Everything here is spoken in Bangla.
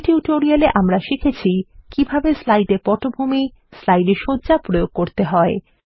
এই টিউটোরিয়ালে আমরা শিখেছি কিভাবে স্লাইডে পটভূমি স্লাইডে সজ্জা প্রয়োগ করতে হয়